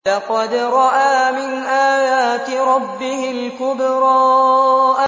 لَقَدْ رَأَىٰ مِنْ آيَاتِ رَبِّهِ الْكُبْرَىٰ